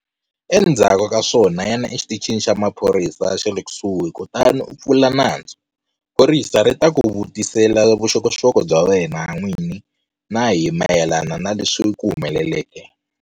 Endzhaku ka swona yana exitichini xa maphorisa xa le kusuhi kutani u pfula nandzu. Phorisa ri ta ku vutisela vuxokoxoko bya wena n'wini na hi mayelana na leswi swi ku humeleleke.